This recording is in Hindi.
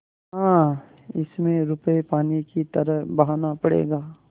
हाँ इसमें रुपये पानी की तरह बहाना पड़ेगा